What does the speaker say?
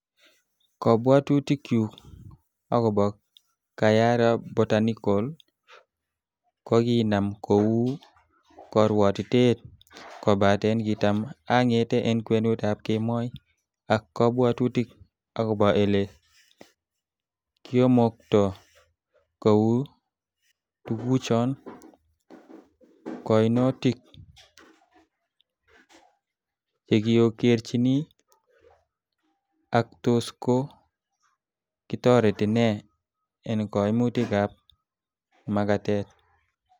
Kobwotutikyuk agobo Kayara Botanical, kokinam ko u korwotiteet, kobaten kitam angete en kwenutab kemoi ak kobwotutik agobo ele kiomokto kou tuguchoton, koinutik chekiogerchin, ak tos ko kitoreti nee en koimutikab magatet.